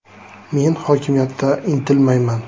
“Men hokimiyatda intilmayman.